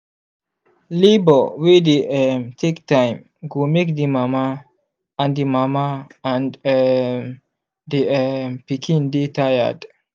labour wey dey um take time go make the mama and the mama and um the um pikin dy tired